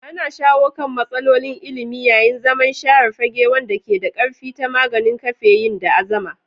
Ana shawo kan matsalolin ilimi yayin zaman share fage wanda ke da ƙarfi ta maganin kafeyin da azama.